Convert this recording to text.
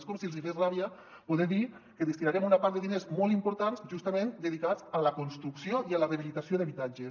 és com si els hi fes ràbia poder dir que destinarem una part de diners molt important justament dedicats a la construcció i a la rehabilitació d’habitatges